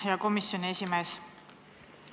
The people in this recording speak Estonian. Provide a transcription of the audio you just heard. Hea komisjoni esimees!